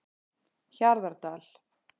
Hjarðardal